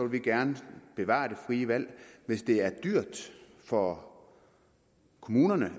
vi gerne bevare det frie valg hvis det er dyrt for kommunerne